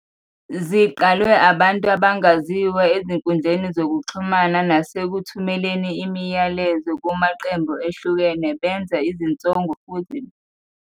Ziqalwe ngabantu abangaziwa ezinkundleni zokuxhumana nasekuthumeleni imiyalezo kumaqembu ehlukene benza izinsongo futhi befuna nokuziphindiselela.